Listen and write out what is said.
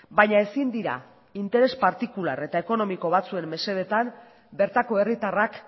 baina ezin dira interes partikular eta ekonomiko batzuen mesedetan bertako herritarrak